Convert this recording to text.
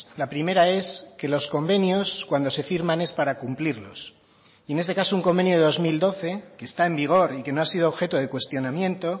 la primera es que los convenios cuando se firman es para cumplirlos y en este caso un convenio de dos mil doce que está en vigor y que no ha sido objeto de cuestionamiento